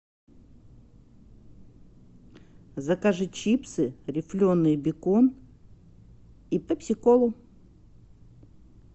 закажи чипсы рефленые бекон и пепси колу